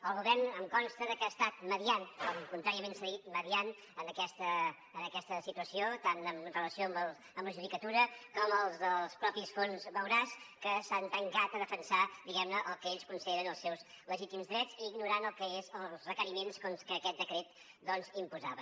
el govern em consta que ha estat mediant com contràriament s’ha dit en aquesta situació tant en relació amb la judicatura com als dels mateixos fons vauras que s’han tancat a defensar diguem ne el que ells consideren els seus legítims drets i ignorant el que són els requeriments que aquest decret doncs imposava